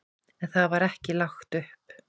En það var ekki lagt upp.